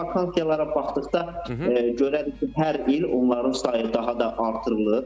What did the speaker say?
Biz vakansiyalara baxdıqda görərik ki, hər il onların sayı daha da artırılır.